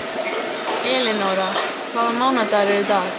Elinóra, hvaða mánaðardagur er í dag?